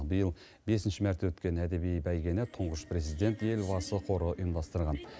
биыл бесінші мәрте өткен әдеби бәйгені тұңғыш президент елбасы қоры ұйымдастырған